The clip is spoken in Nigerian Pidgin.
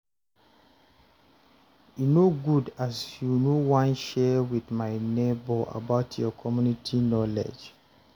e no good as you no wan share with my nebor about your community knowledge